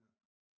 Nå